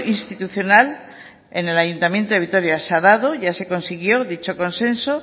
institucional en el ayuntamiento de vitoria se ha dado ya se consiguió dicho consenso